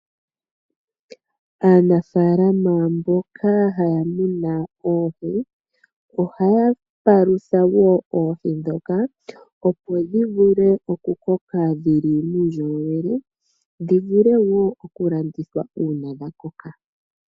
Aanafaalama mboka haya munu oohi ohaya palutha wo oohi ndhoka opo dhi vule okukoka dhili muundjolowele dhi vule wo okulandithwa uuna dha koka.